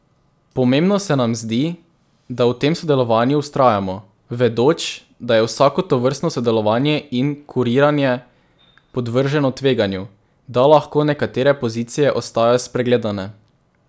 Pomembno se nam zdi, da v tem sodelovanju vztrajamo, vedoč, da je vsako tovrstno sodelovanje in kuriranje podvrženo tveganju, da lahko nekatere pozicije ostajajo spregledane.